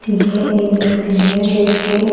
यह एक बिल्डिंग है जिसकी--